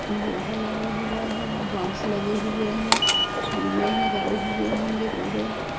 लोहा लगा हुआ है बास लगे हुए हैं खंभे है गड़े हुए है पुरे।